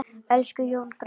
Elsku Jón granni.